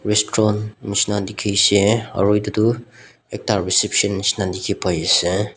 Restron neshna dekhe shea aro etutu ekta reception neshna dekhe pai ase.